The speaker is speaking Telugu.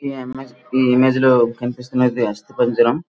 ఈ ఇమేజ్ లో కనిపిస్తున్నది అస్తిపంజరం.